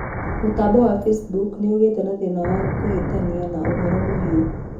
mutambo wa Facebook ni ugiite na thĩna wa kuhitana na ũhoro muhiu